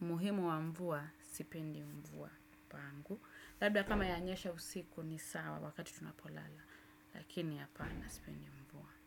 umuhimu wa mvua, sipendi mvua pangu. Labda kama yanyesha usiku ni sawa wakati tunapolala. Lakini apana sipendi mvua.